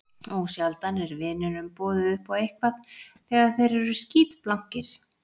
Ósjaldan er vinunum boðið upp á eitthvað þegar þeir eru skítblankir.